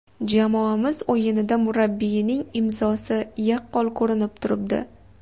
Jamoamiz o‘yinida murabbiyining ‘imzosi’ yaqqol ko‘rinib turibdi.